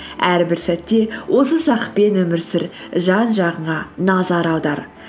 әрбір сәтте осы шақпен өмір сүр жан жағыңа назар аудар